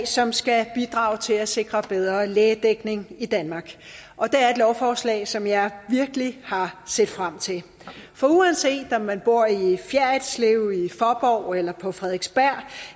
som skal bidrage til at sikre bedre lægedækning i danmark og det er et lovforslag som jeg virkelig har set frem til for uanset om man bor i fjerritslev i faaborg eller på frederiksberg